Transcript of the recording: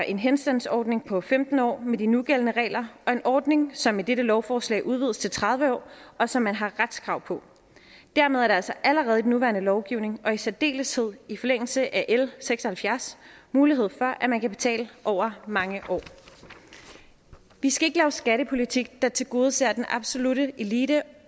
en henstandsordning på femten år med de nugældende regler og en ordning som med dette lovforslag udvides til tredive år og som man har retskrav på dermed er der altså allerede i den nuværende lovgivning og i særdeleshed i forlængelse af l seks og halvfjerds mulighed for at man kan betale over mange år vi skal ikke lave skattepolitik der tilgodeser den absolutte elite